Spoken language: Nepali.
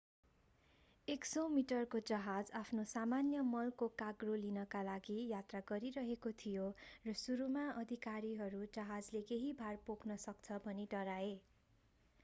100 मिटरको जहाज आफ्नो सामान्य मलको कार्गो लिनका लागि यात्रा गरिरहेको थियो र सुरुमा अधिकारीहरू जहाजले केही भार पोख्न सक्छ भनी डराए